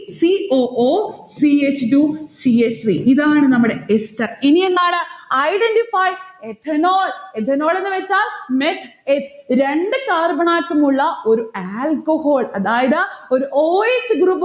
c o o c h two c h three ഇതാണ് നമ്മടെ ester ഇനി എന്താണ്? identify ethanol. ethanol എന്ന് വെച്ചാൽ meth eth രണ്ടു carbon atom ഉള്ള ഒരു alcohol അതായത് ഒരു o s group